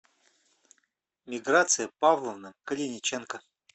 миграция павловна калиниченко